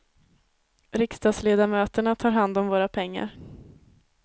Riksdagsledamöterna tar hand om våra pengar.